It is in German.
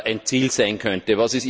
ein Ziel sein könnte?